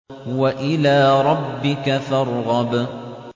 وَإِلَىٰ رَبِّكَ فَارْغَب